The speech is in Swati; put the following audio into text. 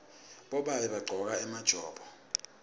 bobabe bagcoka emajobo